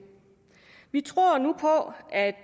vi tror nu på at